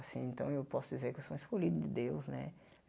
Assim, então eu posso dizer que eu sou escolhido de Deus, né?